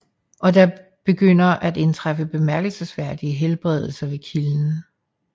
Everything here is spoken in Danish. Og der begynder at indtræffe bemærkelsesværdige helbredelser ved kilden